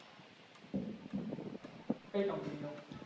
કઈ કંપનીનો?